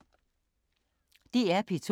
DR P2